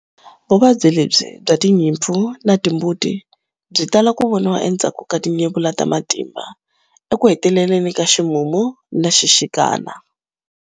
Vuvabyi lebyi bya tinyimpfu na timbuti byi tala ku voniwa endzhaku ka tinyevula ta matimba eku heteleleni ka ximumu na xixikana.